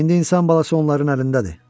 İndi insan balası onların əlindədir.